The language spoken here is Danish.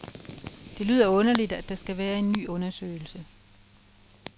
Det lyder underligt, at der skal være en ny undersøgelse.